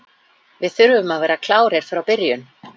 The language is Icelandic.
Við þurfum að vera klárir frá byrjun.